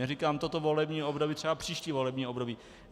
Neříkám toto volební období, třeba příští volební období.